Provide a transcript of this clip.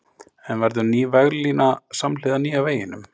En verður ný veglína samhliða nýja veginum?